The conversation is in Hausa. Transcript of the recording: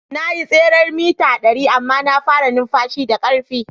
Na yi tseren mita dari amma na fara numfashi da karfi.